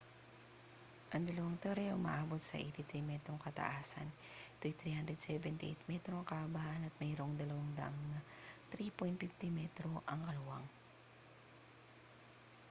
ang dalawang tore ay umaabot sa 83 metrong kataasan ito'y 378 metro ang kahabaan at mayroong dalawang daanan na 3.50 m ang luwang